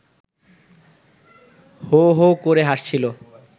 হো হো করে হাসছিল